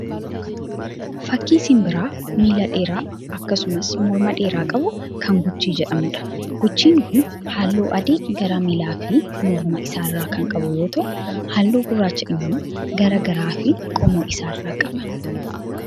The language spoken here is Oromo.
Fakkii simbira miilaa dheeraa akkasumas morma dheeraa qabu kan guchii jedhamuudha. Guchiin kun halluu adii gara miillaa fi morma isaarraa kan qabu yoo ta'u, halluu gurraacha immoo gara garaa fi qoma isaarraa qaba.